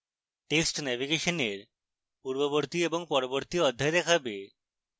text নেভিগেশনের পূর্ববর্তী এবং পরবর্তী অধ্যায় দেখাবে